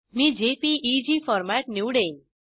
me JPEG format निवडेन